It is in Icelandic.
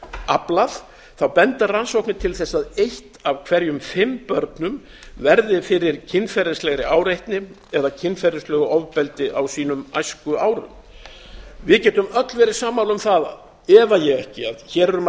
aflað þá benda rannsóknir til þess að eitt af hverjum fimm börnum verði fyrir kynferðislegu áreitni eða kynferðislegu ofbeldi á sínum æskuárum við getum öll verið sammála um það efa ekki að hér er um að